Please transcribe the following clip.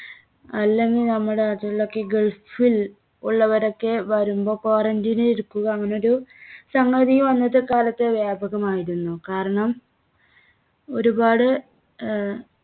അല്ലെങ്കിൽ നമ്മുടെ ഗൾഫിൽ ഉള്ളവരൊക്കെ വരുമ്പോ quarantine ൽ ഇരുത്തുക അങ്ങനൊരു സംഗതിയും അന്നത്തെ കാലത്ത് വ്യാപകമായിരുന്നു. കാരണം ഒരുപാട് ആഹ്